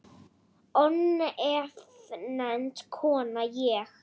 Ónefnd kona: Ég?